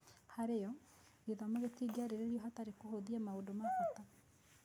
Harĩ o, gĩthomo gĩtingĩarĩrĩrio hatarĩ kũhũthia maũndũ ma bata.